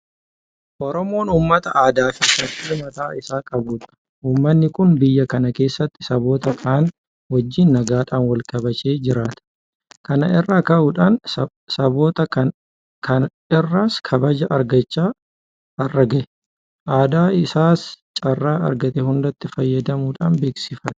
Oromoon uummata aadaafi safuu mataa isaa qabudha. Uummanni kun biyya kana keessatti saboota kaan wajjin nagaadhaan walkabajee jiraata. Kana irraa ka'uudhaan sabkota kaan irraas kabaja argachaa har'a gahe. Aadaa isaas carraa argate hundatti fayyadamuudhaan beeksifata.